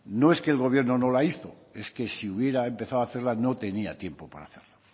no es que el gobierno no la hizo es que si hubiera empezado a hacerla no tenía tiempo para hacerla